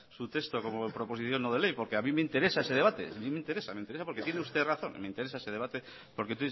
su texto como proposición no de ley porque a mí me interesa ese debate me interesa me interesa porque tiene usted razón me interesa ese debate porque